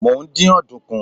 mo n din ọdunkun